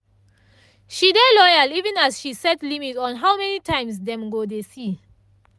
she dey loyal even as she set limit on how many times dem go dey see